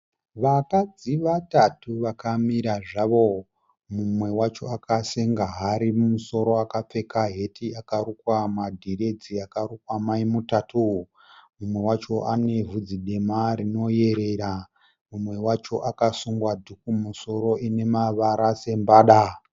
Vakadzi vatatu vakamira zvavo. Mumwe wacho akasenga hari mumusoro akapfeka heti akarukwa madhiredzi akarukwa maimutatu. Mumwe wacho anebvudzi dema rinoyerera. Mumwe wacho akasunga dhuku mumusoro ine mavara sembada.